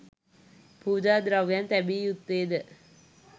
පූජා ද්‍රව්‍යයන් තැබිය යුත්තේ ද